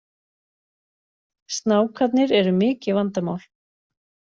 Snákarnir eru mikið vandamál